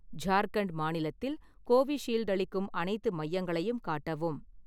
ஜார்க்கண்ட் மாநிலத்தில் கோவிஷீல்டு அளிக்கும் அனைத்து மையங்களையும் காட்டவும்